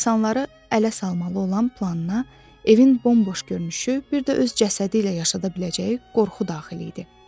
İnsanları ələ salmalı olan planına, evin bomboş görünüşü, bir də öz cəsədi ilə yaşada biləcəyi qorxu daxil idi.